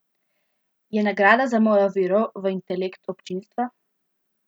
Je nagrada za mojo vero v intelekt občinstva.